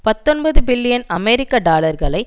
பத்தொன்பது பில்லியன் அமெரிக்க டாலர்களை